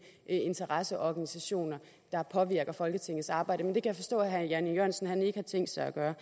interesseorganisationer der påvirker folketingets arbejde men det kan jeg forstå at herre jan e jørgensen ikke har tænkt sig at gøre